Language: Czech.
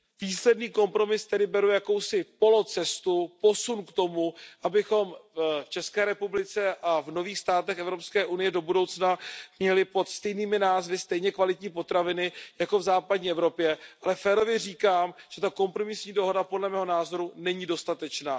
Písemný kompromis tedy beru jako jakousi polocestu, posun k tomu, abychom v České republice a v nových státech Evropské unie do budoucna měli pod stejnými názvy stejně kvalitní potraviny jako v západní Evropě, ale férově říkám, že ta kompromisní dohoda, podle mého názoru, není dostatečná.